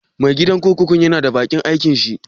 Mai gadin kurkukun ya na bakin aikin shi?